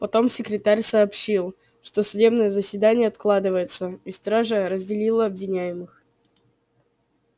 потом секретарь сообщил что судебное заседание откладывается и стража разделила обвиняемых